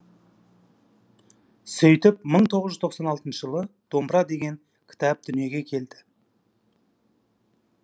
сөйтіп мың тоғыз жүз тоқсан алтыншы жылы домбыра деген кітап дүниеге келді